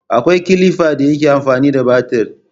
Akwai kilifan da ke amfani da battir